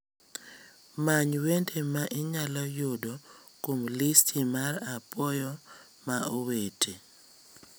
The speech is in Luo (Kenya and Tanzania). Many wende ma inyalo yudo kuom listi mar apuoyo ma owete